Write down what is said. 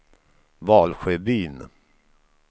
Valsjöbyn